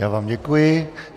Já vám děkuji.